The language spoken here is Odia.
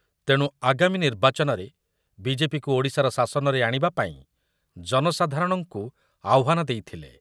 ତେଣୁ ଆଗାମୀ ନିର୍ବାଚନରେ ବିଜେପିକୁ ଓଡ଼ିଶାର ଶାସନରେ ଆଣିବା ପାଇଁ ଜନସାଧାରଣଙ୍କୁ ଆହ୍ୱାନ ଦେଇଥିଲେ ।